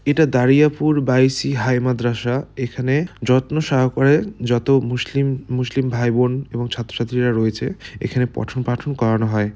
এটা দারিয়াপুর বাই শি হাই মাদ্রাসা। এখানে যত্ন সহকারে যত মুসলিম মুসলিম ভাই বোন এবং ছাত্র ছাত্রিরা রয়েছে এখানে পঠন পাঠন করানো হয়।